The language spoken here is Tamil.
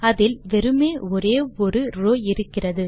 அதில் வெறுமே ஒரே ஒரு ரோவ் இருக்கிறது